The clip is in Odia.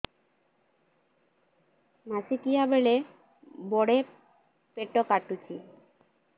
ମାସିକିଆ ବେଳେ ବଡେ ପେଟ କାଟୁଚି